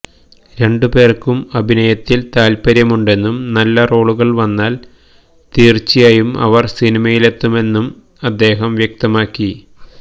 രണ്ടുപേര്ക്കും അഭിനയത്തില് താല്പര്യമുണ്ടെന്നും നല്ല റോളുകള് വന്നാല് തീര്ച്ചയായും അവര് സിനിമയിലെത്തുമെന്നും അദ്ദേഹം വ്യക്തമാക്കി